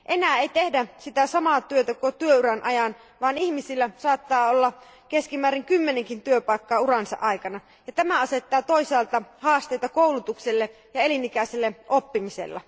Enää ei tehdä sitä samaa työtä koko työuran ajan, vaan ihmisillä saattaa olla keskimäärin kymmenenkin työpaikkaa uransa aikana, ja tämä asettaa toisaalta haasteita koulutukselle ja elinikäiselle oppimiselle.